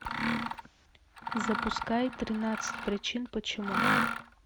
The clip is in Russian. запускай тринадцать причин почему